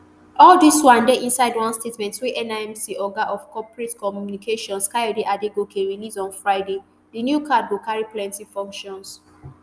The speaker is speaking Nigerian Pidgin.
all dis one dey inside one statement wey nimc oga of corporate communications kayode adegoke release on friday di new card go carry plenty functions